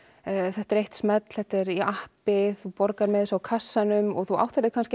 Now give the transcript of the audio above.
þetta er eitt smell þetta er í appi þú borgar með þessu á kassanum og þú áttar þig